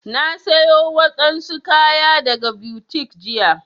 Na siyo wadansu kaya daga boutique jiya.